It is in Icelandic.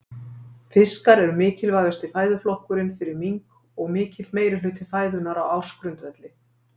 Fiskar eru mikilvægasti fæðuflokkurinn fyrir mink og mikill meirihluti fæðunnar á ársgrundvelli.